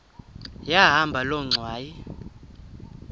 yahamba loo ngxwayi